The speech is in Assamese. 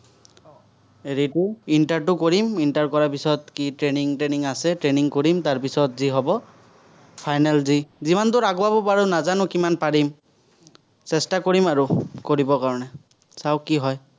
inter টো কৰিম, inter কৰাৰ পিচত, কি training থ্ৰেনিং আছে, training কৰিম, তাৰ পিচত যি হ'ব, final দি, যিমান দুৰ আগুৱাব পাৰো নাজানো, কিমান পাৰিম। চেষ্টা কৰিম আৰু, কৰিবৰ কাৰণে, চাঁও কি হয়।